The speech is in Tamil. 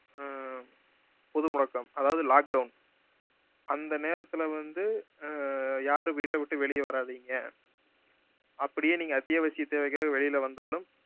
அஹ் பொது முடக்கம் அதாவது lock down அந்த நேரத்துல வந்து அஹ் யாரும் வீட்டை விட்டு வெளிய வர்றாதீங்க அப்படியே நீங்க அத்தியாவசிய தேவைகாக வெளியல வந்தாலும்